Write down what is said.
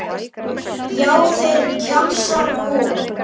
Já, þeir, kjamsar hún.